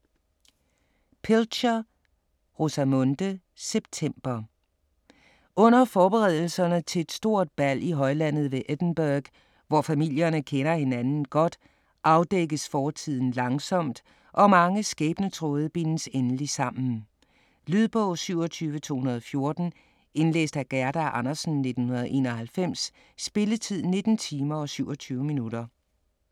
Pilcher, Rosamunde: September Under forberedelserne til et stort bal i højlandet ved Edingburgh, hvor familierne kender hinanden godt, afdækkes fortiden langsomt, og mange skæbnetråde bindes endelig sammen. Lydbog 27214 Indlæst af Gerda Andersen, 1991. Spilletid: 19 timer, 27 minutter.